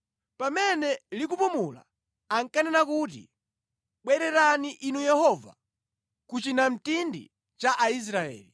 “Pamene likupumula, ankanena kuti, “Bwererani, Inu Yehova, ku chinamtindi cha Aisraeli.”